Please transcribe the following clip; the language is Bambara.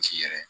Misi yɛrɛ